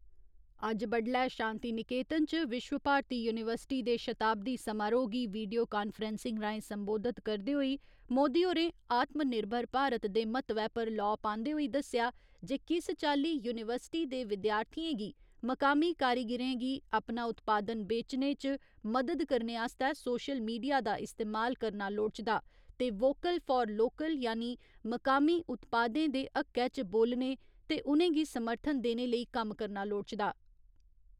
अज्ज बड्डलै शांतिनिकेतन च विश्व भारती युनिवर्सिटी दे शताब्दी समारोह गी वीडियो कांफ्रैसिंग राहें सम्बोधित करदे होई मोदी होरें आत्म निर्भर भारत दे म्हत्वै पर लौऽ पान्दे होई दस्सेआ जे किस चाल्ली यूनिवर्सिटी दे विद्यार्थिएं गी मकामी कारीगिरें गी अपना उत्पादन बेचने च मदद करने आस्तै सोशल मीडिया दा इस्तेमाल करना लोड़चदा ते वोकल्ल फार लोकल्ल यानी मकामी उत्पादनें दे हक्कै च बोलने ते उ'नेंगी समर्थन देने लेई कम्म करना लोड़चदा।